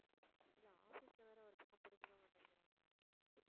இல்ல office ல வேற ஒரு பக்கம் புரிஞ்சுக்க மாட்டேங்கிறாங்க